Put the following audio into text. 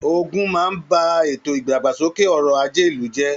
Ogún máa n bá ètò ìdàgbàsókè ọrọ àjé ìlú jẹ.